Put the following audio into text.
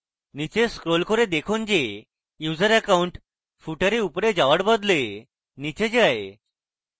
নীচে scroll করে দেখুন যে user account footer এ উপরে যাওয়ার বদলে নীচে যায়